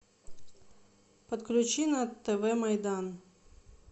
подключи на тв майдан